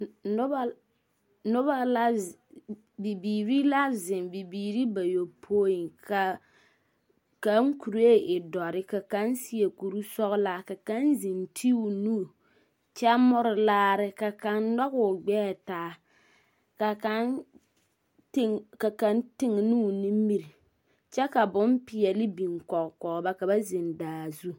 Noba, noba la ze, bibiiri la zeŋ, bibiiri bayopoi, ka kaŋ kuree e dɔre, ka kaŋ seɛ kuri sɔglaa, ka kaŋ zeŋ ti o nu kyɛ more laare, ka kaŋ nɔge o gbɛɛ taa, ka kaŋ teg, ka kaŋ teŋenoo o nimiri ka boŋ peɛle biŋ kɔge kɔge ba ka ba zeŋ daa zu. 13380